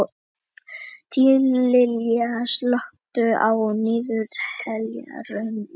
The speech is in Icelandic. Tíalilja, slökktu á niðurteljaranum.